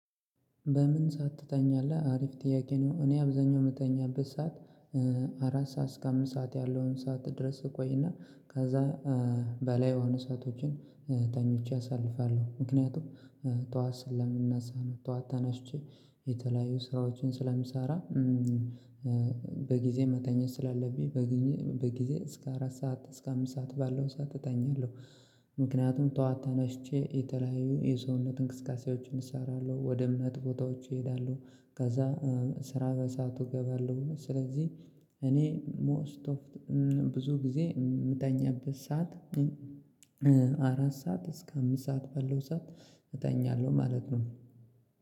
በምን ሰዓት ትተኛለህ? አሪፍ ጥያቄ ነው። እኔ አብዛኛው የምተኛበት ሰዓት አራት ሰዓት እስከ አምስት ሰዓት ያለውን ሰዓት ድረስ እቆይና ከዛ በላይ የሆኑ ሰአቶችን ተኝቼ አሳልፋለሁ። ምክንያቱም ጠዋት ስለምንነሳ ነው ጠዋት ተነሽቼ የተለያዩ ስራዎችን ስለምሰራ። በጊዜ መተኛት ስላለብኝ በጊዜ እስከ አራት ሰዓት እስከ አምስት ሰዓት ባለው ሰዓት እተኛለሁ። ምክንያቱም ተዋጥቼ የተለያዩ የሰውነት እንቅስቃሴዎችን እሰራለሁ ወደ እምነት ቦታዎች እሄዳለሁ ከዛ ስራ በሰአቱ እገባለሁ። ስለዚህ እኔ ሞስት ብዙ ጊዜ የምተኛበት ሰዓት አራት ሰዓት እስከ አምስት ሰዓት በለው ሰዓት እተኛለሁ ማለት ነው።